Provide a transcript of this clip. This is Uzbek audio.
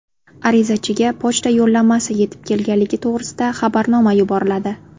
Arizachiga pochta yo‘llanmasi yetib kelganligi to‘g‘risida xabarnoma yuboriladi.